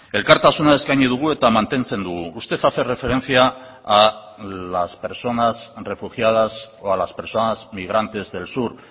elkartasuna eskaini dugu eta mantentzen dugu usted hace referencia a las personas refugiadas o a las personas migrantes del sur